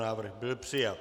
Návrh byl přijat.